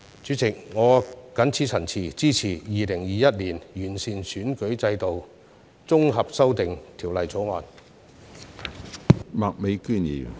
主席，我發言支持《2021年完善選舉制度條例草案》恢復二讀。